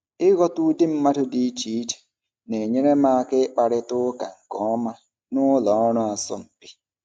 Ịghọta ụdị mmadụ dị iche iche na-enyere m aka ịkparịta ụka nke ọma na ụlọ ọrụ asọmpi.